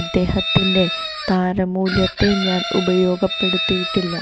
അദ്ദേഹത്തിന്റെ താരമൂല്യത്തെ ഞാൻ ഉപയോഗപ്പെടുത്തിയിട്ടില്ല